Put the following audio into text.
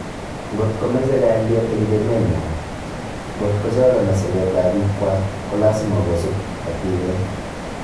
Ngot komeche galyet eng emenwa, ngotko chalani sabeet ab biik kwak ko lasima kosuub katibeet